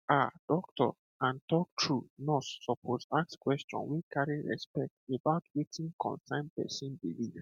um doctor and to talk true nurse suppose ask question wey carry respect about wetin concern person belief